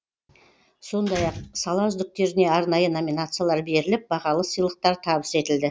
сондай ақ сала үздіктеріне арнайы номинациялар беріліп бағалы сыйлықтар табыс етілді